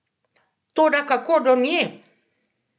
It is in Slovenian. Toda kako do nje?